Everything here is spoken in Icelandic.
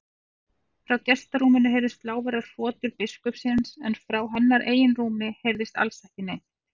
Frá gestarúminu heyrðust lágværar hrotur biskupsins en frá hennar eigin rúmi heyrðist alls ekki neitt.